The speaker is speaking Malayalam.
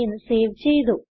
എന്ന് സേവ് ചെയ്തു